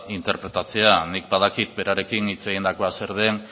interpretatzea nik badakit berarekin hitz egindakoa zer den